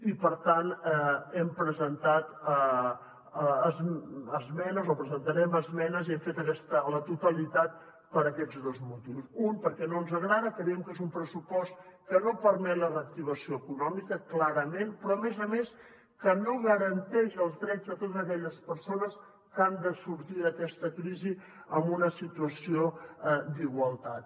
i per tant hem presentat esmenes o presentarem esmenes a la totalitat per aquests dos motius un perquè no ens agrada creiem que és un pressupost que no permet la reactivació econòmica clarament però a més a més que no garanteix els drets de totes aquelles persones que han de sortir d’aquesta crisi en una situació d’igualtat